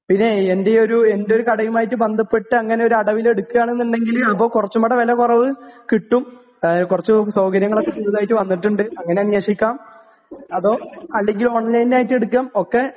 പിന്നെ എൻറെ ഒരു, എന്റെ ഒരു കടയും ആയിട്ട് ബന്ധപ്പെട്ട് അങ്ങനെ ഒരു അടവിൽ എടുക്കുകയാണ് എന്നുണ്ടെങ്കിൽ അപ്പോൾ കുറച്ചുകൂടി വില കുറവ് കിട്ടും. കുറച്ചു സൗകര്യങ്ങളൊക്കെ പുതുതായി വന്നിട്ടുണ്ട്. അങ്ങനെ അന്വേഷിക്കാം. അതോ അല്ലെങ്കിൽ ഓൺലൈൻ ആയിട്ട് എടുക്കാം. ഒക്കെ